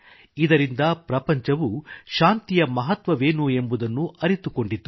ಇದರಿಂದ ಪ್ರಪಂಚವು ಶಾಂತಿಯ ಮಹತ್ವವೇನು ಎಂಬುದನ್ನು ಅರಿತುಕೊಂಡಿತು